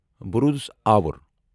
بہٕ روٗدُس آور۔